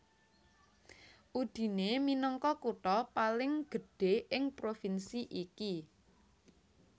Udine minangka kutha paling gedhé ing provinsi iki